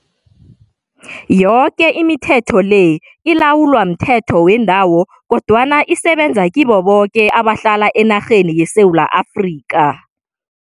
Yoke imithetho le ilawulwa mthetho wendawo kodwana isebenza kibo boke abahlala enarheni yeSewula Afrika.